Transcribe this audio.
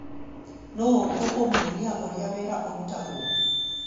Nũ ũkũmuonia ũrĩa wĩra ũrarutwo